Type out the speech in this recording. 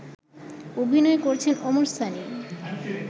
অভিনয় করেছেন ওমর সানি